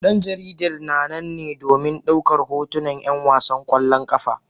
Dan jaridar na nan ne domin daukar hotunan 'yan wasan kwallon kafa